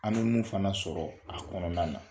An be mun fana sɔrɔ a kɔnɔna na.